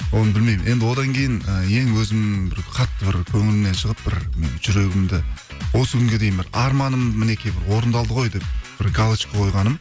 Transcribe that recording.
оны білмеймін енді одан кейін і ең өзім бір қатты бір көңілімнен шығып бір м жүрегімді осы күнге дейін бір арманым мінекей бір орындалды ғой деп бір галочка қойғаным